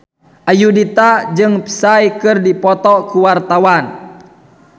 Ayudhita jeung Psy keur dipoto ku wartawan